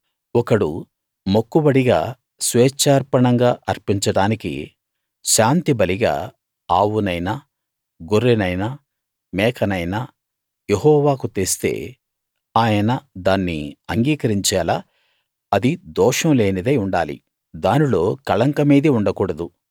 ఒకడు మొక్కుబడిగా స్వేచ్ఛార్పణంగా అర్పించడానికి శాంతి బలిగా ఆవునైనా గొర్రెనైనా మేకనైనా యెహోవాకు తెస్తే ఆయన దాన్ని అంగీకరించేలా అది దోషం లేనిదై ఉండాలి దానిలో కళంకమేదీ ఉండకూడదు